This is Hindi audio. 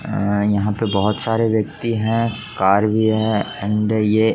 यहां पे बहुत सारे व्यक्ति है कार भी है एंड ये --